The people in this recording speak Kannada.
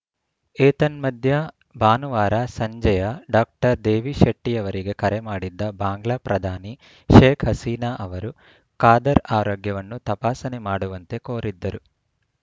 ಏತನ್ಮಧ್ಯೆ ಭಾನುವಾರ ಸಂಜೆಯ ಡಾಕ್ಟರ್ ದೇವಿಶೆಟ್ಟಿಅವರಿಗೆ ಕರೆ ಮಾಡಿದ್ದ ಬಾಂಗ್ಲಾ ಪ್ರಧಾನಿ ಶೇಖ್‌ ಹಸೀನಾ ಅವರು ಖಾದರ್‌ ಆರೋಗ್ಯವನ್ನು ತಪಾಸಣೆ ಮಾಡುವಂತೆ ಕೋರಿದ್ದರು